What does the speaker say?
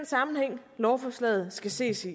sammenhæng lovforslaget skal ses i